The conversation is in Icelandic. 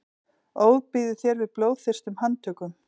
ofbýður þér við blóðþyrstum handtökum